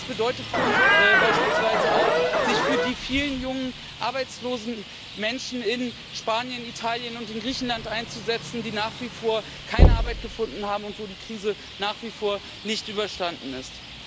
Das bedeutet für uns beispielsweise auch, sich für die vielen jungen arbeitslosen Menschen in Spanien, Italien und Griechenland einzusetzen, die nach wie vor keine Arbeit gefunden haben, und wo die Krise nach wie vor nicht überstanden ist.